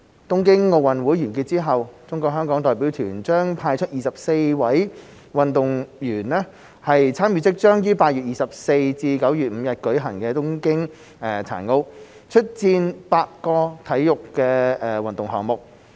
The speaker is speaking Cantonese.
東京奧運完結後，中國香港代表團將派出24位運動員參與即將於8月24日至9月5日舉行的東京殘奧，出戰8個運動項目。